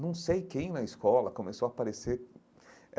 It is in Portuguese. Não sei quem na escola começou a aparecer.